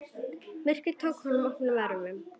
Myrkrið tók honum opnum örmum.